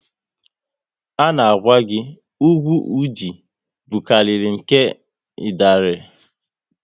A na gwa gị, ugwu Ụdị bukariri nke Idanre